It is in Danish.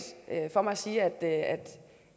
for mig at sige at